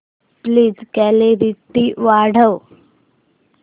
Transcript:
please clarity वाढव